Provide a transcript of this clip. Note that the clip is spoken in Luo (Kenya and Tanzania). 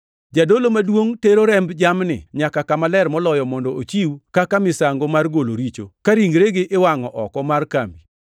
Jadolo maduongʼ tero remb jamni nyaka Kama Ler Moloyo mondo ochiw kaka misango mar golo richo ka ringregi iwangʼo oko mar kambi.